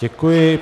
Děkuji.